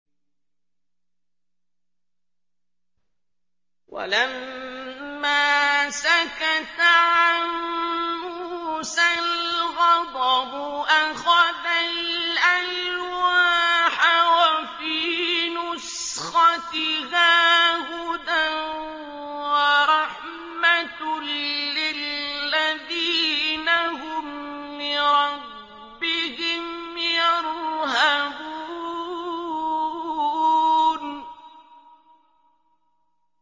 وَلَمَّا سَكَتَ عَن مُّوسَى الْغَضَبُ أَخَذَ الْأَلْوَاحَ ۖ وَفِي نُسْخَتِهَا هُدًى وَرَحْمَةٌ لِّلَّذِينَ هُمْ لِرَبِّهِمْ يَرْهَبُونَ